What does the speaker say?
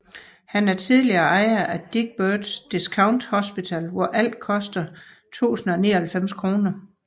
Han er tidligere ejer af Dick Birds Discount Hospital hvor alt koster 1099 kr